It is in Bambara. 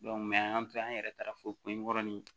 an y'an to an yɛrɛ taara fo kunkɔrɔni